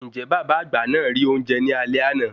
Ǹjẹ́ bàbá àgbà náà rí oúnjẹ ní alé àná?